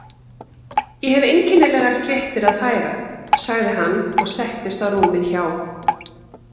Ég hef einkennilegar fréttir að færa sagði hann og settist á rúmið hjá